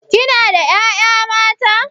Kina da ƴaƴa mata?